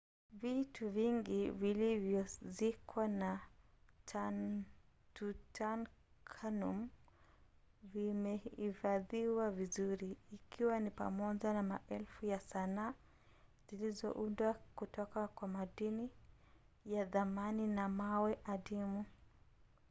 vitu vingi vilivyozikwa na tutankhamun vimehifadhiwa vizuri ikiwa ni pamoja na maelfu ya sanaa zilizoundwa kutoka kwa madini ya thamani na mawe adimu